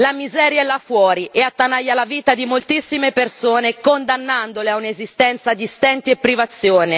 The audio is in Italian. La miseria è la fuori e attanaglia la vita di moltissime persone, condannandole a un'esistenza di stenti e privazioni.